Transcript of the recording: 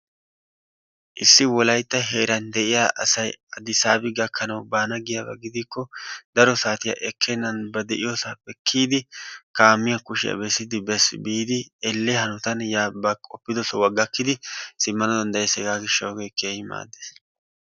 issi wolaytta heeran de'iya asay adisaabi gakkanawu baana giyaba gidikko daro saatiya ekkenan ba de'iyosaappe kiyidi kaamiya kushiya bessidi bes. biidi elelliya hanotan yaa ba qoppido sohuwa gakkidi simana danddayuees hegaa hishawu ogee kehi maadees.